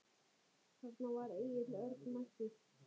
Þarna var Egill Örn mættur.